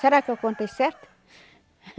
Será que eu contei certo?